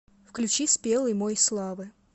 включи спелый мой славы